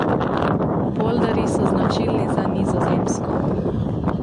Polderji so značilni za Nizozemsko.